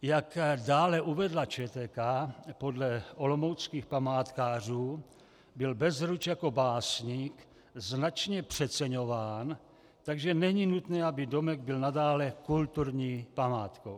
Jak dále uvedla ČTK, podle olomouckých památkářů byl Bezruč jako básník značně přeceňován, takže není nutné, aby domek byl nadále kulturní památkou.